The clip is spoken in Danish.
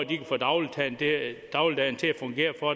de kan få dagligdagen dagligdagen til at fungere for